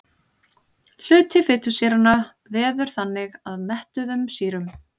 Hluti fitusýranna veður þannig að mettuðum sýrum.